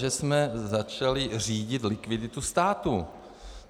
Že jsme začali řídit likviditu státu.